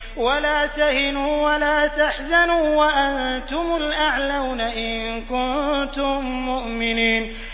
وَلَا تَهِنُوا وَلَا تَحْزَنُوا وَأَنتُمُ الْأَعْلَوْنَ إِن كُنتُم مُّؤْمِنِينَ